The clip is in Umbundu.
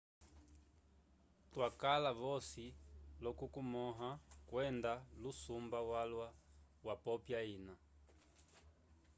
twakala vosi l'okukomõha kwenda lusumba walwa wapopya ina